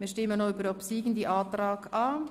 Wir stimmen noch über den obsiegenden Antrag ab.